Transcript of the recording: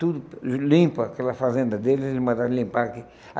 Tudo limpa, aquela fazenda deles, eles mandaram limpar aqui.